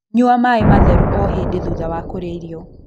Nyua maĩ matheru o hĩndĩ thutha wa kũrĩa irio